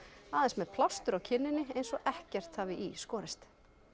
aðeins með plástur á kinninni eins og ekkert hafi í skorist